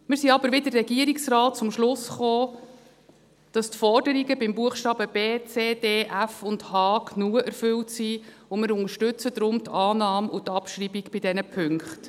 Wir sind aber wie der Regierungsrat zum Schluss gekommen, dass die Forderungen bei den Buchstaben b, c, d, f und h genug erfüllt sind, und wir unterstützen deshalb die Annahme und die Abschreibung bei diesen Punkten.